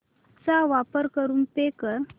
चा वापर करून पे कर